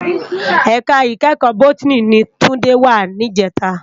Èká ikèékò bótìní ni Tunde wá nijètá